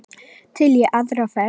Til í aðra ferð.